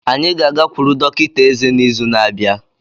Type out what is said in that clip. Anyị ga-agakwuru dọkịta eze n'izu na-abịa.